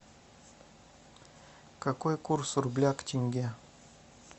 какой курс рубля к тенге